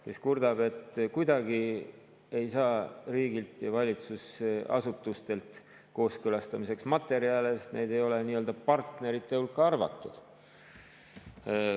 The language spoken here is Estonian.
Nemad kurtsid, et kuidagi ei saa riigilt ja valitsusasutustelt kooskõlastamiseks materjale, sest neid ei ole nii-öelda partnerite hulka arvatud.